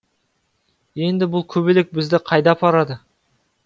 енді бұл көбелек бізді қайда апарады